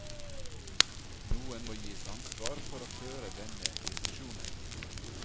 Noen må gis ansvar for å føre denne diskusjonen.